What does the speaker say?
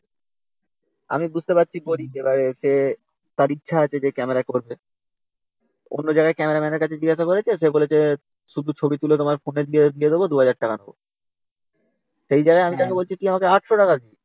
আমি বুঝতে পারছি গরীব । এবারে সে, তার ইচ্ছে আছে যে ক্যামেরা করবে। অন্য জায়গায় ক্যামেরাম্যানের কাছে জিজ্ঞাসা করছে সে বলেছে শুধু ছবি তুলে তোমার ফোনে দিয়ে দেব two thousand টাকা নেব। সেই জায়গায় আমি তাকে বলছি তুই আমায় eight hundred টাকা দে।